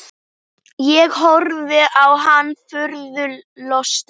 Ég horfði á hann furðu lostin.